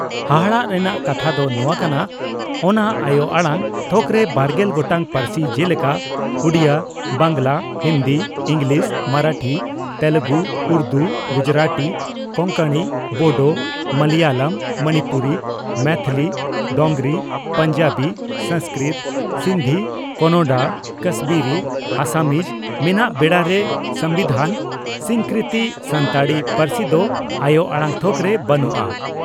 ᱦᱟᱦᱟᱲᱟ ᱨᱮᱱᱟᱜ ᱠᱟᱛᱷᱟ ᱫᱚ ᱱᱚᱣᱟ ᱠᱟᱱᱟ, ᱚᱱᱟ ᱟᱭᱚ ᱟᱲᱟᱝ ᱛᱷᱚᱠᱨᱮ ᱵᱟᱨᱜᱮᱞ ᱜᱚᱴᱟᱝ ᱯᱟᱹᱨᱥᱤ ᱡᱮᱞᱮᱠᱟ ᱩᱰᱤᱭᱟᱹ, ᱵᱟᱝᱜᱽᱞᱟ, ᱦᱤᱱᱫᱤ, ᱤᱸᱜᱽᱞᱤᱥ, ᱢᱟᱨᱟᱴᱷᱤ, ᱛᱮᱞᱮᱜᱩ, ᱩᱨᱫᱩ, ᱜᱩᱡᱩᱨᱟᱴᱤ, ᱠᱚᱝᱠᱚᱬᱤ, ᱵᱚᱰᱚ, ᱢᱟᱞᱟᱭᱟᱞᱟᱢ, ᱢᱚᱱᱤᱯᱩᱨᱤ, ᱢᱚᱭᱛᱷᱚᱞᱤ, ᱰᱚᱜᱽᱨᱤ, ᱯᱚᱧᱡᱟᱵᱤ, ᱥᱟᱝᱥᱠᱨᱤᱛ, ᱥᱤᱱᱫᱷᱤ, ᱠᱚᱱᱚᱰᱟ, ᱠᱟᱥᱢᱤᱨᱤ, ᱟᱥᱟᱢᱤᱡ ᱢᱮᱱᱟᱜ ᱵᱮᱲᱟᱨᱮ ᱥᱚᱢᱵᱤᱫᱷᱟᱱ ᱥᱤᱠᱨᱤᱛᱤ ᱥᱟᱱᱛᱟᱲᱤ ᱯᱟᱹᱨᱥᱤ ᱫᱚ ᱟᱭᱚ ᱟᱲᱟᱝ ᱛᱷᱚᱠᱨᱮ ᱵᱟᱹᱱᱩᱜᱼᱟ ᱾